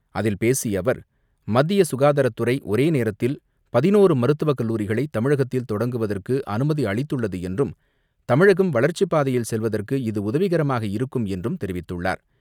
அதில் பேசிய அவர் மத்திய சுகாதாரத்துறை ஒரே நேரத்தில் பதினோரு மருத்துவக் கல்லூரிகளை தமிழகத்தில் தொடங்குவதற்கு அனுமதி அளித்துள்ளது என்றும் தமிழகம் வளர்ச்சிப் பாதையில் செல்வதற்கு இது உதவிகரமாக இருக்கும் என்றும் தெரிவித்துள்ளார்.